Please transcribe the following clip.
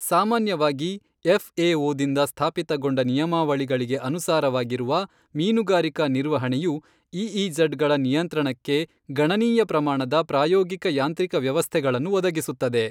ಸಾಮಾನ್ಯವಾಗಿ F A ದಿಂದ ಸ್ಥಾಪಿತಗೊಂಡ ನಿಯಮಾವಳಿಗಳಿಗೆ ಅನುಸಾರವಾಗಿರುವ ಮೀನುಗಾರಿಕಾ ನಿರ್ವಹಣೆಯು ಇಇಜಡ್ ಗಳ ನಿಯಂತ್ರಣಕ್ಕೆ ಗಣನೀಯ ಪ್ರಮಾಣದ ಪ್ರಾಯೋಗಿಕ ಯಾಂತ್ರಿಕ ವ್ಯವಸ್ಥೆಗಳನ್ನು ಒದಗಿಸುತ್ತದೆ.